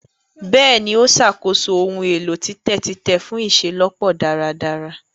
Bẹẹni, o ṣàkóso ohùn èlò titẹ titẹ fun iṣelọpọ dáradára